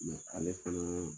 ale fana